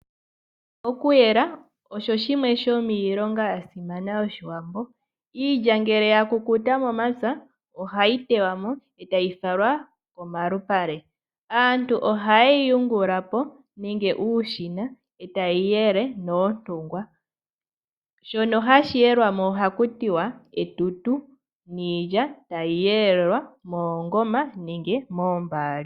Okuyela osho shimwe shomiilonga yasimana yoshiwambo . Iilya ngele ya kukuta momapya ohayi teywa mo etayi falwa momalupale . Aantu ohayeyi yungulapo nenge uushina etaye yi yele noontungwa, shono hashi yelwamo ohakutiwa olungu niilya tayi yelelwa moongoma nenge moombaali.